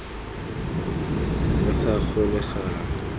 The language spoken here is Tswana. re sa gole ga re